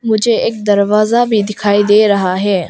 मुझे एक दरवाजा भी दिखाई दे रहा है।